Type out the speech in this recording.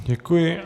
Děkuji.